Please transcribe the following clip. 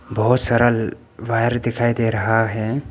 बहुत सरल वायर दिखाई दे रहा है।